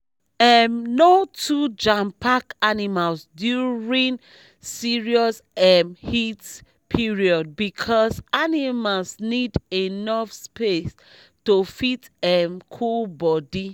um no too jampack animals during serious um heat period because animal need enough spare to fit um cool body